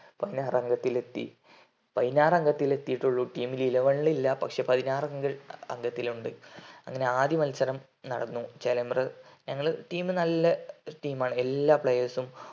പതിനാറാങ്കത്തിലെത്തി പൈനാരങ്കത്തിൽ എതിട്ടുള്ളു team eleven ലു ഇല്ല അങ്ങനെ ആദ്യ മത്സരം നടന്നു ചേലമ്പ്ര ഞങ്ങടെ team നല്ല team ആണ് എല്ലാ players ഉം